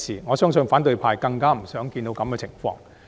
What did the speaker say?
我相信反對派更不想看到這個情況。